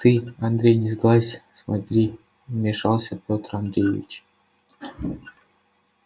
ты андрей не сглазь смотри вмешался пётр андреевич